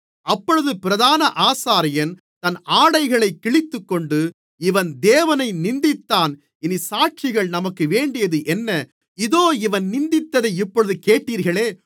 அப்பொழுது பிரதான ஆசாரியன் தன் ஆடைகளைக் கிழித்துக்கொண்டு இவன் தேவனை நிந்தித்தான் இனி சாட்சிகள் நமக்கு வேண்டியதென்ன இதோ இவன் நிந்தித்ததை இப்பொழுது கேட்டீர்களே